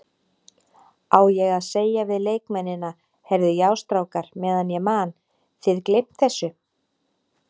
Á ég að segja við leikmennina, Heyrðu já strákar meðan ég man, þið gleymt þessu?